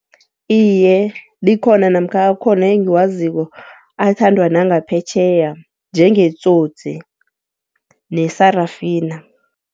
Iye, likhona namkha akhona engiwaziko athandwa nangaphetjheya njengeTsotsi ne-Sarafina.